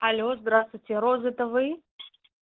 алло здравствуйте роза это вы